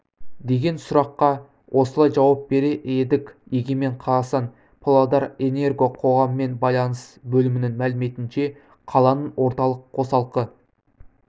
деген сұраққа осылай жауап берер едік егемен қазақстан павлодарэнерго қоғаммен байланыс бөлімінің мәліметінше қаланың орталық қосалқы